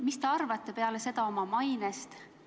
Mis te peale seda oma mainest arvate?